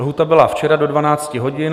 Lhůta byla včera do 12 hodin.